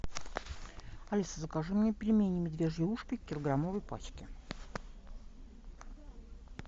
алиса закажи мне пельмени медвежьи ушки в килограммовой пачке